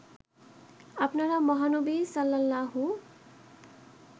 আপনারা মহানবী সাল্লাল্লাহু